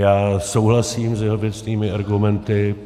Já souhlasím s jeho věcnými argumenty.